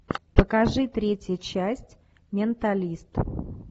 покажи третья часть менталист